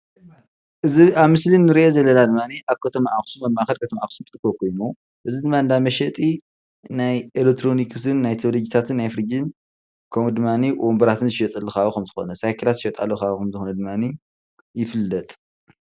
እዚ ኣብ ምስሊ እንሪኦ ዘለና ድማኒ ኣብ ከተማ ኣኽሱም ኣብ ማእኸል ከተማ አኽሱም ዝርከብ ኾይኑ እዚ ድማ እንዳመሸጢ ናይ ኤልክትሮኒክሰስ ።፣ቴሌቭዥናትን ናይ ፍርጅን ፣ ኸምኡድማኒ ወንበራት ዝሽየጠሉ ኸባቢ ሳይክላት ዝሽየጣሉ ኸባቢ ኸም ምዃኑ ይፍለጥ።